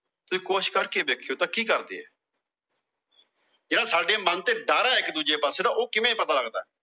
ਤੁਸੀਂ ਕੋਸ਼ਿਸ਼ ਕਰਕੇ ਕੇ ਦੇਖਿਓ। ਤਾਂ ਕਿ ਕਰਦੇ ਏ? ਜਿਹੜਾ ਸਾਡੇ ਮਨ ਤੇ ਡਰ ਐ ਇੱਕ ਦੂਜੇ ਪਾਸੇ ਦਾ ਉਹ ਕਿਵੇਂ ਪਤਾ ਲੱਗਦਾ।